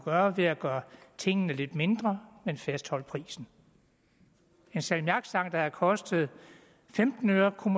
gøre ved at gøre tingene lidt mindre men fastholde prisen en salmiakstang der havde kostet femten øre kunne